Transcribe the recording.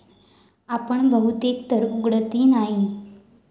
आपण बहुतेक तर उघडतही नाही.